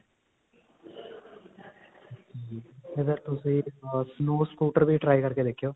ਤੁਸੀਂ snow scooter ਵੀ try ਕਰਕੇ ਦੇਖਿਓ.